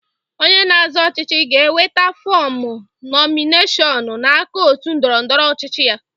Onye na-azọ ọchịchị ga-enweta fọmụ nọmineshọnụ n'aka òtù ndọrọ ndọrọ ọchịchị ya.